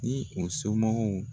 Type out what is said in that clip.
Ni u somɔgɔw